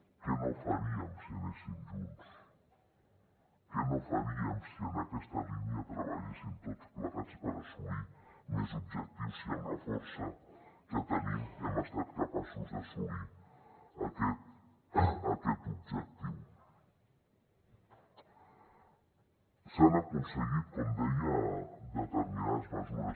què no faríem si anéssim junts què no faríem si en aquesta línia treballéssim tots plegats per assolir més objectius si amb la força que tenim hem estat capaços d’assolir aquest objectiu s’han aconseguit com deia determinades mesures